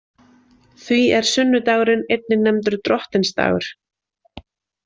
Því er sunnudagurinn einnig nefndur Drottinsdagur.